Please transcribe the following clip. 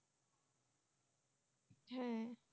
হ্যাঁ